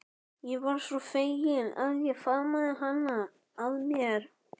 Ég varð svo fegin að ég faðmaði hana að mér.